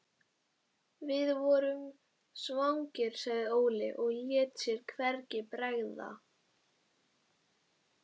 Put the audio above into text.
Hver skyldi vera hin sanna umbun vinnunnar fyrir honum?